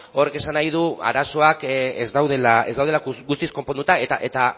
horrek esan nahi du arazoak ez daudela guztiz konponduta eta